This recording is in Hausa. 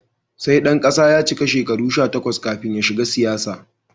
Sai ɗan kasa ya cika shekaru sha takwas kafin ya shiga siyasa.